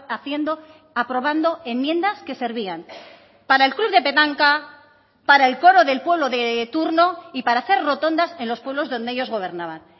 haciendo aprobando enmiendas que servían para el club de petanca para el coro del pueblo de turno y para hacer rotondas en los pueblos donde ellos gobernaban